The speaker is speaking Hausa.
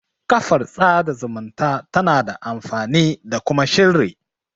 Kafar sada zumunta tana da amfani da kuma shirri